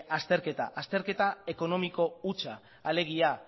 azterketa ekonomiko hutsa alegia